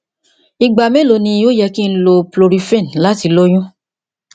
igba melo ni o yẹ ki n lo prolifen lati loyun